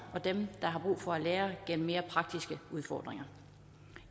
og dem der har brug for at lære gennem mere praktiske udfordringer